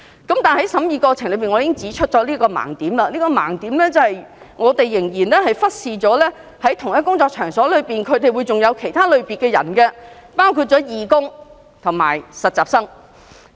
但是，在審議過程中，我指出一個盲點，便是我們仍然忽視了在同一工作場所中，還會有其他類別的人，包括義工和實習生。